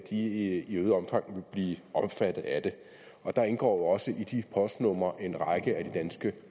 i øget omfang vil blive omfattet af det og der indgår jo også i de postnumre en række af de danske